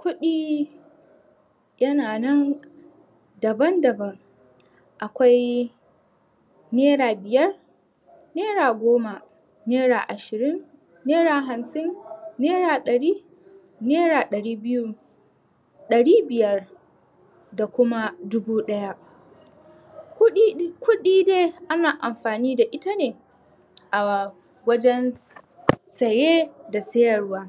Kuɗi Yana nan Daban daban Akwai Naira biyar Naira goma. Naira ashirin. Naira hamsin. Naira ɗari Naira ɗari biyu. ɗari biyar. Da kuma dubu ɗaya. Kuɗi dai ana amfani da ita ne A wajen saye da sayarwa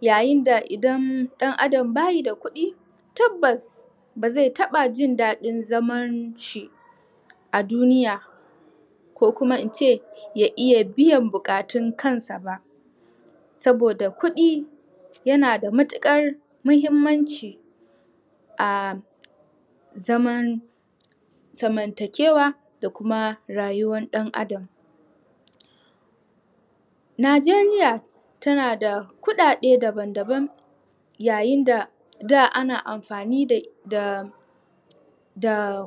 Yayin da idan ɗan adam bayi da kuɗi Tabbas bazai taɓa jin daɗin zaman shi A duniya Ko kuma ince ya iya buƙatun kansa ba Saboda kuɗi yana da mutuƙar muhimmanci A zaman Zamantakewa da kuma rayuwan ɗan adam Nijeriya tana da kuɗaɗe daban daban Yayin da daa ana amfani da Da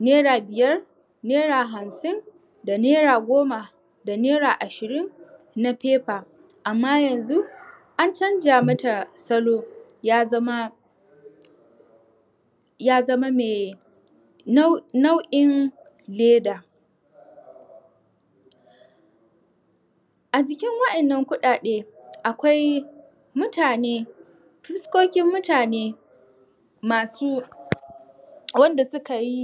naira biyar, Naira hamsin Da naira goma. Da naira ashirin Na paper, amma yanzu, an canja mata salo, ya zama Ya zama mai Nau'in leda A jikin waɗannan kuɗaɗe akwai mutane...fuskokin mutane Masu Wanda suka yi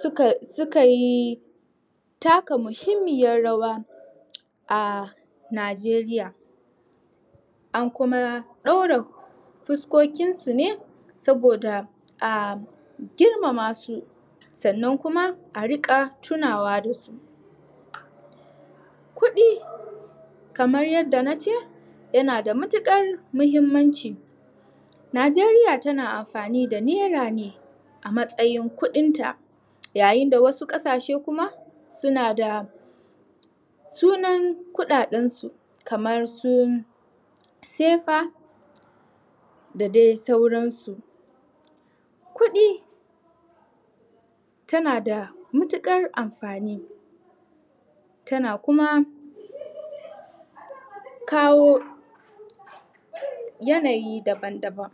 Suka... suka yi Taka muhimmiyan rawa A nijeriya An kuma ɗaura Fuskokin su ne, saboda a girma ma su Sannan kuma a riƙa tunawa su Kuɗi Kamar yadda nace Yana da mutuƙar muhimmanci Nijeriya tana amfani da naira ne A matsayin kuɗin ta Yayin da wasu ƙasashe kuma suna da Sunan kuɗaɗen su, kamar su Sefa Da dai sauran su Kuɗi Tana da mutuƙar amfani Tana kuma Kawo Yanayi daban daban.